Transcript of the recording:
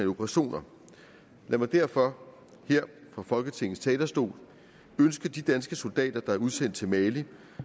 operationer lad mig derfor her fra folketingets talerstol ønske de danske soldater der er udsendt til mali